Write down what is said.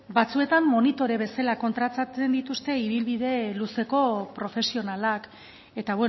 batzuetan monitore bezala kontratatzen dituzte ibilbide luzeko profesionalak eta